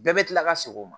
Bɛɛ bɛ kila ka segin o ma